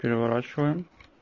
переворачиваем